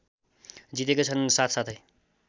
जितेकै छन् साथसाथै